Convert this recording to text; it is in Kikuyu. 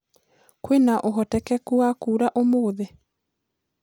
kwĩna ũhotekekũ wa kũura umuthi